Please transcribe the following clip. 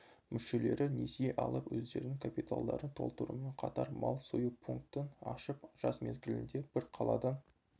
мүшелері несие алып өздерінің капиталдарын толтырумен қатар мал сою пунктін ашып жаз мезгілінде бір қаладан